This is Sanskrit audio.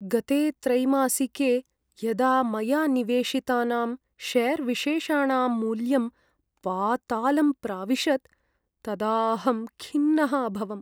गते त्रैमासिके यदा मया निवेशितानां शेर् विशेषाणां मूल्यं पातालं प्राविशत् तदा अहं खिन्नः अभवम्।